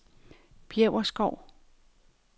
Bjæverskov